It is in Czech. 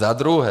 Zadruhé.